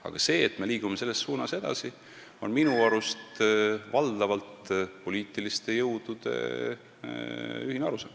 Aga see, kuhu suunda me edasi liigume, on minu arust valdavalt poliitiliste jõudude ühine arusaam.